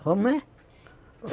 Como é?